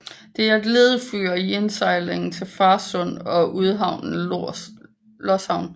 Det er et ledefyr i indsejlingen til Farsund og udhavnen Loshavn